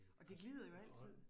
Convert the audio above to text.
Og det glider jo altid